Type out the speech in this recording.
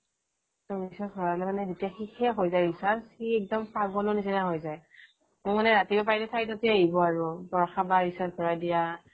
recharge ভৰালে মানে শেষ হৈ যায় যেতিয়া recharge সি মানে পাগল হৈ যায় মোৰ মানে ৰাতিপুৱা চাৰিটা বজাতে আহিব আৰু বৰষা বা recharge ভৰাই দিয়া